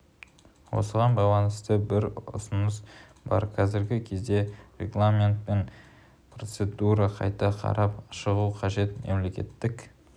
осыған байланысты бір ұсыныс бар қазіргі кезде регламент пен процедураны қайта қарап шығу қажет мемлекеттік